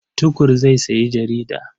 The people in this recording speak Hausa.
Tukur zai sayi jarida.